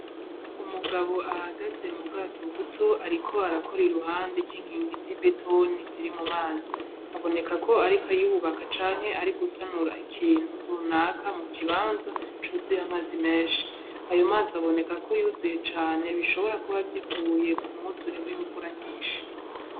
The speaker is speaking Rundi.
Umugabo ahagaze mu bwato buto, ariko arakora i ruhande ry'inkingi z'i betoni zirimo mazi aboneka ko, ariko yubaka canke ari gusanura ikintu runaka mu kibanza cuzuye amaze menshi ayo mazi aboneka ko yuzuye cane bishobora kuba vyivuye ku muzure w'imvura nyinshi.